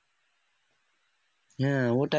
হ্যাঁ ওটাই